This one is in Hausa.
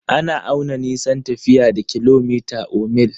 Ana auna nisan tafiya da kilomita or mil.